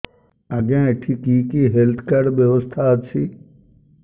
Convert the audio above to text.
ଆଜ୍ଞା ଏଠି କି କି ହେଲ୍ଥ କାର୍ଡ ବ୍ୟବସ୍ଥା ଅଛି